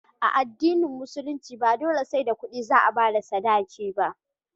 A addinin musulunci ba dole sai da kudi za a bada sadaki ba